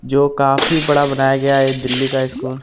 जो काफी बड़ा बनाया गया है ये दिल्ली का स्कूल --